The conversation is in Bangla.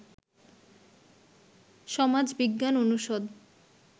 সমাজ বিজ্ঞান অনুষদ